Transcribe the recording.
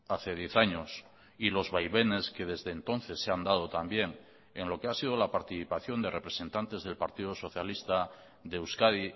hace diez años y los vaivenes que desde entonces se han dado también en lo que ha sido la participación de representantes del partido socialista de euskadi